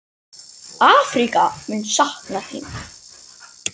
Afríka mun sakna þín.